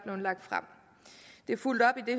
lagt frem det er fulgt op i